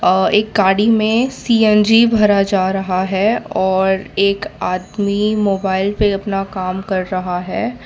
अ एक गाड़ी में सी_एन_जी भरा जा रहा है और एक आदमी मोबाइल पे अपना काम कर रहा है।